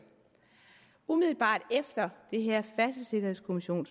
umiddelbart efter det her færdselssikkerhedskommissionen